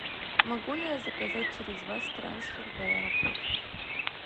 могу ли я заказать через вас трансфер в аэропорт